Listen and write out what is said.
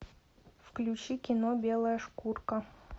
включи кино белая шкурка